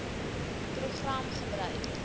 program gebruik